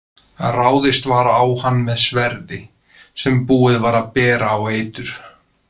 Ráðist var á hann með sverði sem búið var að bera á eitur.